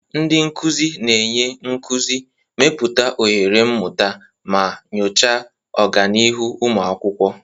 Ndị nkuzi na-enye nkuzi, mepụta ohere mmụta, ma nyochaa ọganihu ụmụ akwụkwọ.